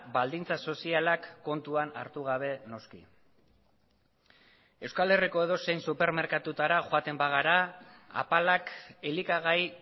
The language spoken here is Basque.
baldintza sozialak kontuan hartu gabe noski euskal herriko edozein supermerkatutara joaten bagara apalak elikagai